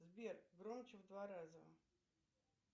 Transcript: сбер громче в два раза